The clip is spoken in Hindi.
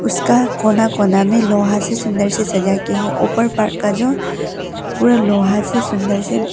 इसका कोना कोना में लोहा से सुंदर से सजा के है ऊपर पर का जो पूरा लोहा से सुंदर से--